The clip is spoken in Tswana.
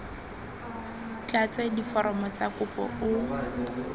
tlatse diforomo tsa kopo o